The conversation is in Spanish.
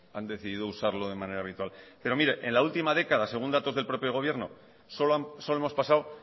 han decidido usarlo de manera habitual en la última década según datos del propio gobierno solo hemos pasado